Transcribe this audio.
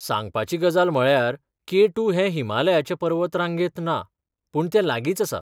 सांगपाची गजाल म्हळ्यार के टू हें हिमालयाचे पर्वत रांगेंत ना, पूण तें लागींच आसा.